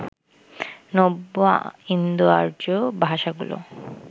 নব্য ইন্দোআর্য্য ভাষাগুলো